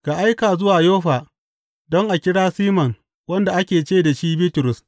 Ka aika zuwa Yoffa don a kira Siman wanda ake ce da shi Bitrus.